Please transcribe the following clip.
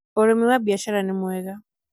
ũrĩmi wa biacara nĩ mwega